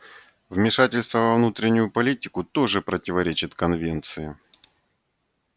вмешательство во внутреннюю политику тоже противоречит конвенции